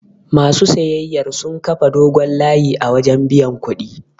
Ma su siyayyar sun kafa dogon layi a wajen biyan kuɗi.